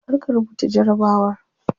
Kar ka rubuta jarabawar.